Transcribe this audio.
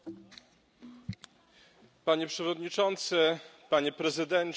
Panie Przewodniczący, Panie Prezydencie, Panie i Panowie Posłowie!